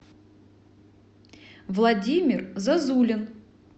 владимир зозулин